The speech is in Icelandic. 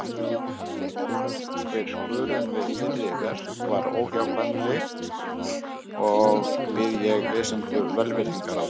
Einhver skörun við fyrri verk var óhjákvæmileg, og bið ég lesendur velvirðingar á því.